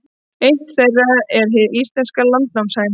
Eitt þeirra er hin íslenska landnámshæna.